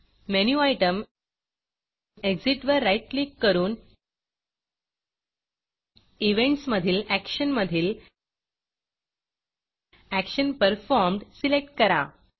menu item Exitएग्ज़िट वर right click करून Eventsइवेंट्स मधील Actionएक्षन मधील एक्शन Performedएक्षन पर्फॉर्म्ड सिलेक्ट करा